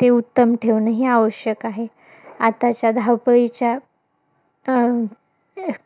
ते उत्तम ठेवणं ही आवश्यक आहे. आताच्या धावपळीच्या अं